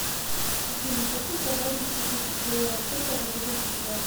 афина хочу продать десять тысяч долларов сколько это будет в рублях